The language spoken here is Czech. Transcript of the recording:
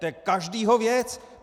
To je každého věc.